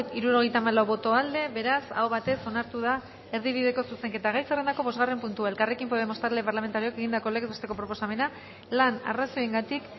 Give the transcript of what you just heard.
hirurogeita hamalau boto aldekoa beraz aho batez onartu da erdibideko zuzenketa gai zerrendako bosgarren puntua elkarrekin podemos talde parlamentarioak egindako legez besteko proposamena lan arrazoiengatik